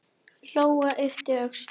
Lóa yppti öxlum.